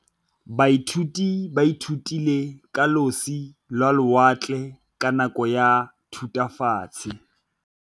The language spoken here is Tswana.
Baithuti ba ithutile ka losi lwa lewatle ka nako ya Thutafatshe.